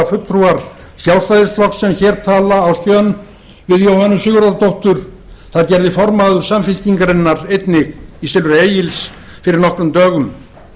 fulltrúar sjálfstæðisflokks sem hér tala á skjön við jóhönnu sigurðardóttur félagsmálaráðherra það gerði formaður samfylkingarinnar einnig í silfri egils fyrir nokkrum dögum